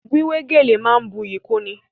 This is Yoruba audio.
Wíwé gèlè máa ń buyì kúnni.